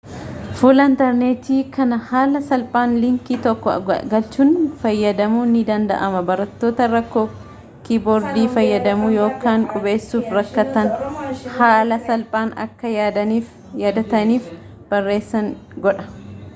fuula intarneetii kana haala salphaan liinkii tokko galchuun fayyadamuun ni danda'ama barattoota rakkoo kiiboordii fayyadamuu yookaan qubeessuuf rakkatanhaala salphaan akka yaadataniif barreessan godha